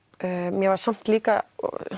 mér var samt líka